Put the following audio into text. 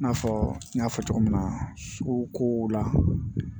I n'a fɔ n y'a fɔ cogo min na suguko la